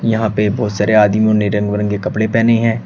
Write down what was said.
यहां पे बहोत सारे आदमियों ने रंग बिरंगे कपड़े पेहने हैं।